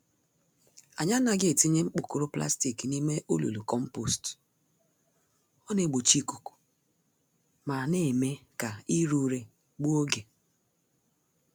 Anyị anaghị etinye mgbokoro plastic n'ime olulu kompost, ọ naegbochi ikuku ma némè' ka ire ure gbuo ógè